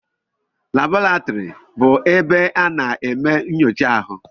Laboratori bụ ebe a na-eme nyocha ahụ.